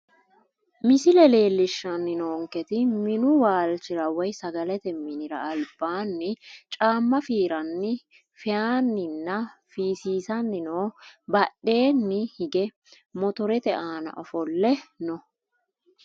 Misile leelishani noonketi minu waalichira woyi sagalete minira albaani caama fiirani feyanina fiisisani no badheeni hige motorete aana ofole no.